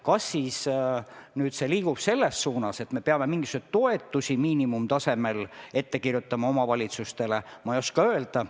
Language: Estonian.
Kas see liigub selles suunas, et me peame omavalitsustele mingisuguseid toetusi miinimumtasemel ette kirjutama, ma ei oska öelda.